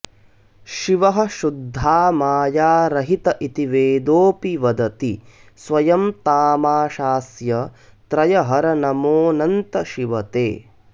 शिवः शुद्धा मायारहित इति वेदोऽपि वदति स्वयं तामाशास्य त्रयहर नमोऽनन्त शिव ते